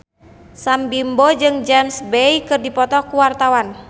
Sam Bimbo jeung James Bay keur dipoto ku wartawan